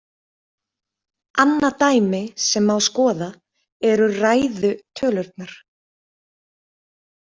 Annað dæmi sem má skoða eru ræðu tölurnar.